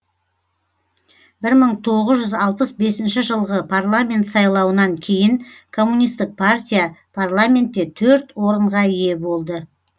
бір мың тоғыз жүз алпыс бесінші жылғы парламент сайлауынан кейін коммунистік партия парламентте төрт орынға ие болды